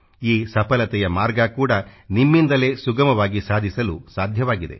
ಈ ಸಫಲತೆಯ ಮಾರ್ಗ ಕೂಡಾ ನಿಮ್ಮಿಂದಲೇ ಸುಗಮವಾಗಿ ಸಾಧಿಸಲು ಸಾಧ್ಯವಾಗಿದೆ